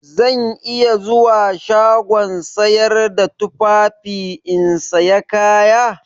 Zan iya zuwa shagon sayar da tufafi in saya kaya?